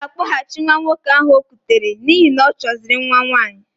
Ọ ga-akpọghachi nwa nwoke ahụ o kutere n'ihi na ọchọziri nwa nwaanyị.